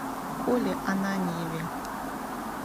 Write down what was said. коле ананьеве